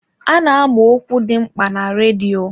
A na-ama ọkwa dị mkpa na redio.